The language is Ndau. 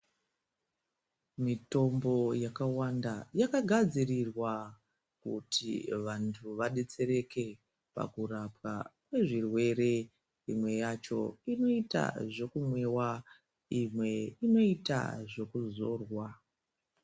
Mitombo yakawanda yakagadzirirwa kuti vantu vadetsereke pakurapwa kwezvirwere. Imwe yacho inoita zvekumwiwa, imwe inoita zvekuzorwa.